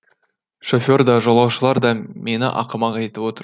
шофер да жолаушылар да мені ақымақ етіп отыр